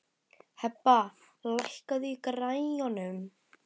Hebba, lækkaðu í græjunum.